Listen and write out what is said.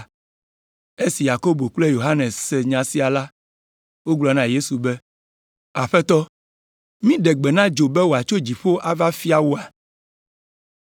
Esi Yakobo kple Yohanes se nya sia la, wogblɔ na Yesu be, “Aƒetɔ, míɖe gbe na dzo be wòatso dziƒo ava fia woa?”